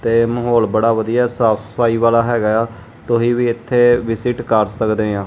ਏ ਮਾਹੌਲ ਬੜਾ ਵਧੀਆ ਸਾਫ ਸਫਾਈ ਵਾਲਾ ਹੈਗਾ ਆ ਤੁਸੀਂ ਵੀ ਇਥੇ ਵਿਸਿਟ ਕਰ ਸਕਦੇ ਆ।